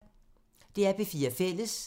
DR P4 Fælles